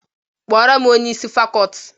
Kpọọrọ m onye isi fakọọti!